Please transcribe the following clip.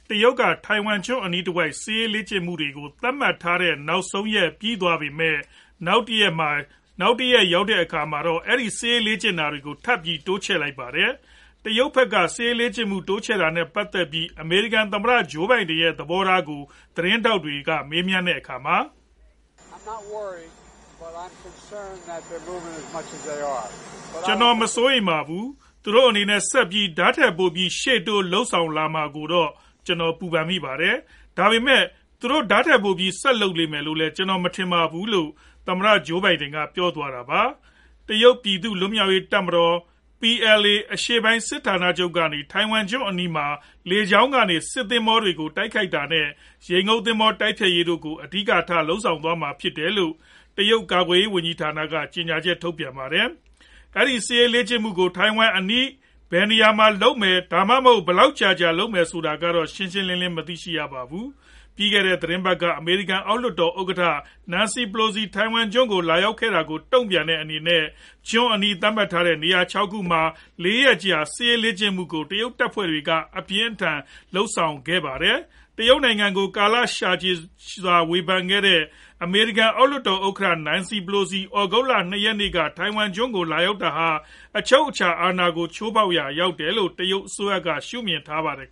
တရုတ်က ထိုင်ဝမ်ကျွန်းအနီးတဝှိက် စစ်ရေးလေ့ကျင့်မှုတွေကို သတ်မှတ်ထားတဲ့ နောက်ဆုံးရက်ပြီးသွားပေမယ့် နောက်တနေ့မှာတော့ အဲဒီလို စစ်ရေးလေ့ကျင့်တာကို ထပ်ပြီး တိုးချဲ့လိုက်ပါတယ်။ တရုတ်ဖက်က စစ်ရေးလေ့ကျင့်မှုကို တိုးချဲ့တာနဲ့ ပတ်သက်ပြီး အမေရိကန် သမ္မတ Joe Biden ကို ရဲ့ သဘောထားကို သတင်ထောက်တွေက မေးရာမှာ "ကျနော် မစိုးရိမ်ပါဘူး။ သူတို့အနေနဲ့ ဆက်ပြီး ဒါထက်ပိုပြီး ရှေ့တိုးလုပ်ဆောင်လာမှာကိုတော့ ကျနော် ပူပန်မိပါတယ်။ ဒါပေမယ့် သူတို့ဟာ ဒါထက်ပိုပြီး ဆက်လုပ်ဆောင်လိမ့်မယ်လို့တော့ ကျနော်မထင်ပါဘူး" လို့ သမ္မတ Joe Biden ပြောသွားတာပါ။ တရုတ်ပြည်သူ့လွတ်မြောက်ရေးတပ်ဖွဲ့ PLA အရှေ့ပိုင်း စစ်ဌာနချုပ်ကနေ ထိုင်ဝမ်ကျွန်းအနီးမှာ လေကြောင်းကနေ စစ်သင်္ဘောတွေကို တိုက်ခိုက်တာ နဲ့ ရေငုတ်သင်္ဘော တိုက်ဖျက်ရေးတို့ကို အဓိကထား လုပ်ဆောင်သွားမှာဖြစ်တယ်လို့ တရုတ် ကာကွယ်ရေးဝန်ကြီးဌာနက ကြေညာချက်ထုတ်ပြန်ပါတယ်။ အဲဒီ စစ်ရေးလေ့ကျင့်မှုကို ထိုင်ဝမ်အနီးဘယ်နေရာမှာ လုပ်မလဲ ဒါမှမဟုတ် ဘယ်လောက်ကြာကြာ လုပ်မှာလဲဆိုတာကတော့ ရှင်းရှင်းလင်းလင်း မရှိပါဘူး။ ပြီးခဲ့တဲ့ သီတင်းပတ်က အမေရိကန် အောက်လွှတ်တော် ဥက္ကဌ Nancy Pelosi ထိုင်ဝမ်ကျွန်းကို လာရောက်ခဲ့တာကို တုံ့ပြန်တဲ့အနေနဲ့ ကျွန်းအနီး သတ်မှတ်ထားတဲ့နေရာ ၆ ခု မှာ ၄ ရက်ကြာ စစ်ရေးလေ့ကျင့်မှုကို တရုတ်တပ်ဖွဲ့တွေက အပြင်းအထန်လုပ်ဆောင်ခဲ့ပါတယ်။ တရုတ်နိုင်ငံကို ကာလကြာရှည်ကတည်းက ဝေဖန်လာခဲ့တဲ့ အမေရိကန် အောက်လွှတ်တော် ဥက္ကဌ Nancy Pelosi သြဂုတ်လ ၂ ရက်နေ့က ထိုင်ဝမ်ကျွန်းကို လာရောက်တာဟာ အချုပ်အခြာ အာဏာကို ချိုးဖောက်ရာရောက်တယ်လို့ တရုတ်အစိုးရက ရှုမြင်နေပါတယ်